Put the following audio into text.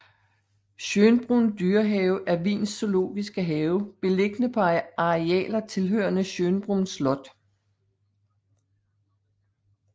Schönbrunn dyrehave er Wiens zoologiske have beliggende på arealer tilhørende Schönbrunn slot